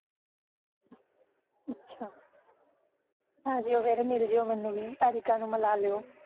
ਆਜੀਓ ਫਿਰ ਮਿਲਜਿਓ ਮੈਨੂੰ ਵੀ ਤਾਰਿਕਾ ਨੂੰ ਮਿਲਾ ਲੀਓ